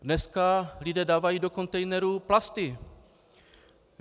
Dneska lidé dávají do kontejnerů plasty.